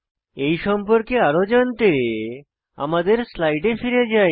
এই সম্পর্কে আরো জানতে আমাদের স্লাইডে ফিরে যাই